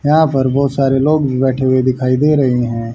यहां पर बहुत सारे लोग भी बैठे हुए दिखाई दे रहे हैं।